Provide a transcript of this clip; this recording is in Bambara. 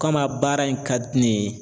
Kama baara in ka di ne ye